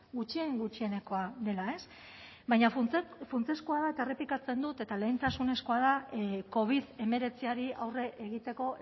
gutxien gutxienekoa dela baina funtsezkoa da eta errepikatzen dut eta lehentasunezkoa da covid hemeretziari aurre egiteko